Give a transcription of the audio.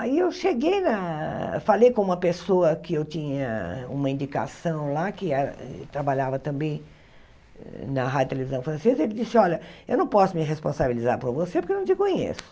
Aí eu cheguei na, falei com uma pessoa que eu tinha uma indicação lá, que era trabalhava também na rádio televisão francesa, e ele disse, olha, eu não posso me responsabilizar por você porque eu não te conheço.